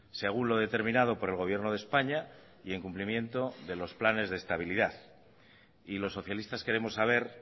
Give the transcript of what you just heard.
según lo determinado por el gobierno de españa y en cumplimiento de los planes de estabilidad y los socialistas queremos saber